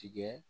Tigɛ